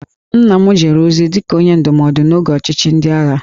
Nna m jere ozi dị ka Onye Ndụmọdụ n'oge ọchịchị ndị agha